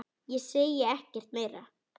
Ég segi ekkert meira.